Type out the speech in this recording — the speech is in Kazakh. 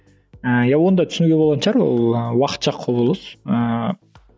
ыыы иә оны да түсінуге болатын шығар ол ы уақытша құбылыс ыыы